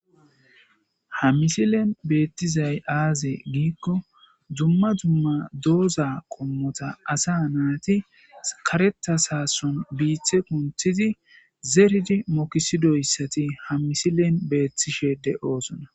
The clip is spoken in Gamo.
Ha misilen beettizay aaze giikko dumma dumma dooza qommota asa naati sakaretas haason biithe kunthidi zeridi mokisidoyssati ha misilen beettishe de'oosona.